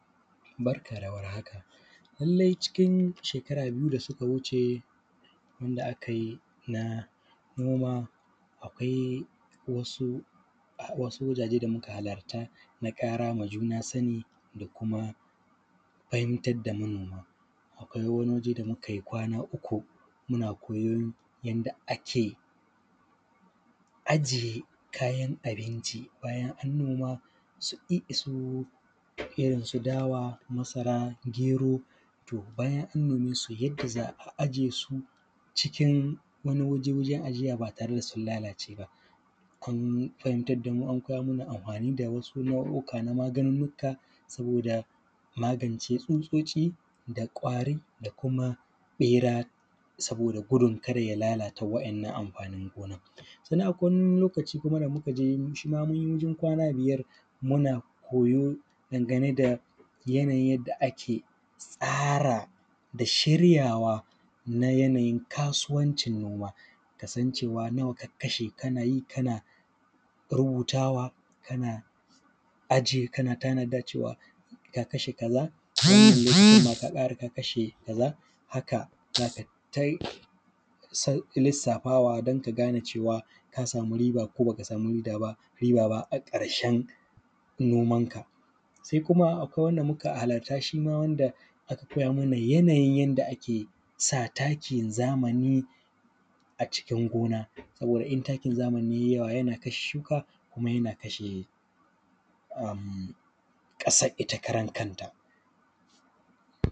Barka da warhaka. Lallai cikin shekara biyu da suka wuce, wanda aka yi na, noma, akwai wasu wajaje da muka halarta na ƙara ma juna sani, da kuma fahimtar da manoma. Akwai wani waje da muka yi kwana uku, muna koyon yadda ake aje kayan abinci bayan an noma, su i, irin su dawa, masara, gero. To, bayan an nome su yadda za a aje su cikin wani waje, wajen ajiya ba tare da sun lalace ba. Kun, an fahimtar da mu an koya mana amfani da wasu nau’uka na maganunnuka, saboda magance tsutsotci, da ƙwari da kuma ɓera, saboda gudun kada ya lalata wa`yannan amfanin gonan. Sannan akwai wani lokaci kuma da muka je, shi ma mun yi wajen kwana biyar, muna koyo dangane da yanayin yadda ake tsara, da shiryawa na yanayin kasuwancin noma. Ka san cewa nawa ka kashe, kana yi kana rubutawa, kana ajiye kana tanadar cewa, ka kashe kaza, wannan lokacin ma ka ƙara ka kashe kaza, haka za ka yi ta lissafawa don ka gane cewa ka samu riba ko ba ka samu riba ba a ƙarshen nomanka. Sai kuma akwai wanda muka halarta, shi ma wanda aka koya mana yanayin da ake sa takin zamani, a cikin gona, saboda in takin zamani ya yi yawa yana kashe shuka, kuma yana kashe ƙasar ita karan kanta.